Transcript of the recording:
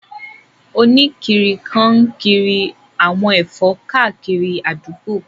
Oníkiri kan n kiri àwọn ẹ̀fọ́ káàkiri àdúgbò